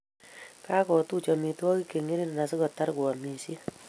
Kagotuch amitwogik chengering asigotar koamishe